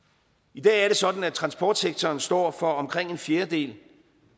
i dag er det sådan at transportsektoren står for omkring en fjerdedel